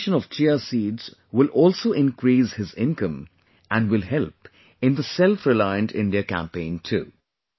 Cultivation of Chia seeds will also increase his income and will help in the selfreliant India campaign too